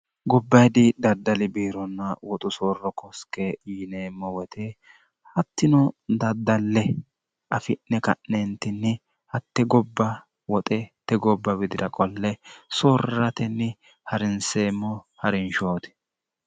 gobba hidi daddali biironna woxu soorro koske yineemmo woyte hattino daddalle afi'ne ka'neentinni hatte gobba woxete gobba widira qolle soorratenni harinseemmo harinshooti